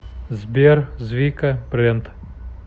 сбер звика брэнд